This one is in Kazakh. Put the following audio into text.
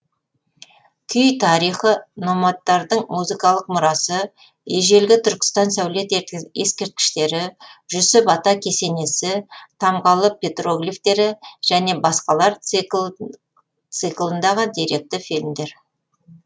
күй тарихы номадтардың музыкалық мұрасы ежелгі түркістан сәулет ескерткіштері жүсіп ата кесенесі тамғалы петроглифтері және басқалар циклындағы деректі фильмдер